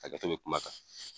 Hakɛto bɛ kuma kan.